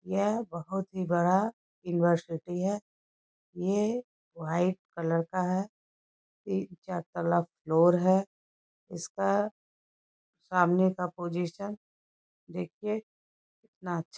यह बहुत ही बड़ा यूनिवर्सिटी है ये वाइट कलर का है तीन चार तल्ला फ्लोर है इसका सामने का पोजीशन देखिए कितना अच्छा--